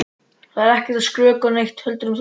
Ég er ekkert að skrökva neitt ef þú heldur það.